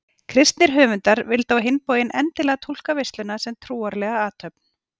Kristnir höfundar vildu á hinn bóginn endilega túlka veisluna sem trúarlega athöfn.